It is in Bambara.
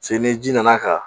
Se ni ji nana ka